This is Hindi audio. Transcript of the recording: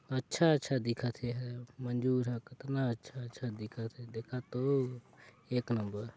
अच्छा-अच्छा दिखत हे एह मंजुर ह कतना अच्छा-अच्छा दिखात हे देखत तो एक नंबर ।